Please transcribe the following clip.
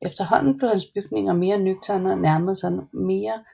Efterhånden blev hans bygninger mere nøgterne og nærmerede sig mere